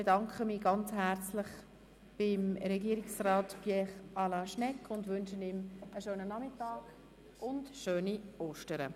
Ich bedanke mich sehr herzlich bei Regierungsrat Pierre Alain Schnegg und wünsche ihm einen schönen Nachmittag und schöne Ostern.